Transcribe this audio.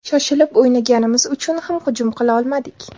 Shoshilib o‘ynaganimiz uchun ham hujum qila olmadik.